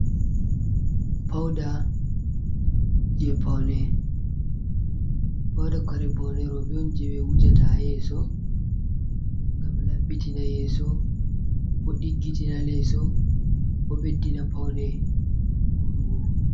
Pauda je paune. pauda kare paune roɓe je ɓe wujata yeso ngam laɓɓitina yeso, bo diggitina leso, bo beddina paune bo vadugo.